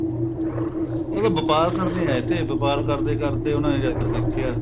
ਉਹ ਤਾਂ ਵਪਾਰ ਕਰਨ ਹੀ ਆਏ ਤੇ ਵਪਾਰ ਕਰਦੇ ਕਰਦੇ ਉਹਨਾ ਨੇ ਜਾ ਕੇ ਦੇਖਿਆ